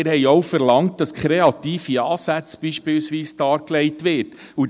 Wir haben auch verlangt, dass beispielsweise kreative Ansätze dargelegt werden.